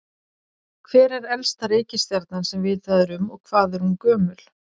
Hver er elsta reikistjarnan sem vitað er um og hvað er hún gömul?